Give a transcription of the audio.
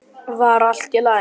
Var allt í lagi?